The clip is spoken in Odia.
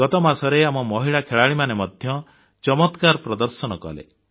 ଗତମାସରେ ଆମ ମହିଳା ଖେଳାଳିମାନେ ମଧ୍ୟ ଚମତ୍କାର ପ୍ରଦର୍ଶନ କଲେ